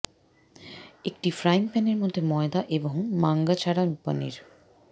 একটি ফ্রাইং প্যানের মধ্যে ময়দা এবং মাঙ্গা ছাড়া পনির